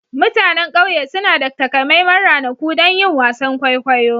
Mutanen ƙauye suna da takamaiman ranaku don yin wasan kwaikwayo.